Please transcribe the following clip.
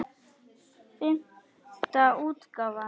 Fimmta útgáfa.